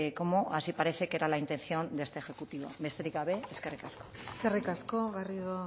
como así parece que era la intención de este ejecutivo besterik gabe eskerrik asko eskerrik asko garrido